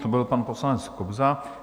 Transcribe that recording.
To byl pan poslanec Kobza.